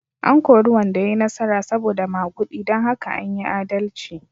An kori wanda ya yi nasara saboda magudi don haka an yi adalci.